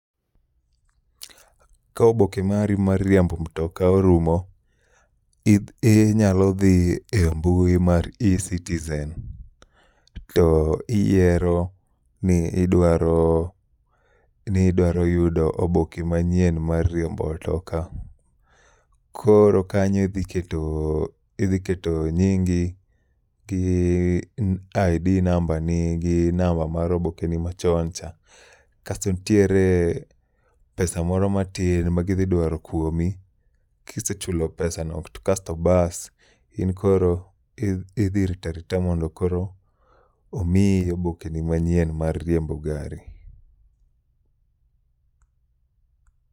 Ka oboke mari mar riembo mtoka orumo, i nyalo dhi e mbui mari mar e-Citizen. To iyiero ni idwaro yudo oboke manyien mar riembo mtoka. Koro kanyo idhi keto nyingi gi ID number ni gi namba mar obokeni machon cha. Kasto ntiere pesa moro matin ma gidhi dwaro kuomi. Kisechulo pesa no to kasto bas in koro idhi ritarita mondo koro omiyi oboke ni manyien mar riembo gari.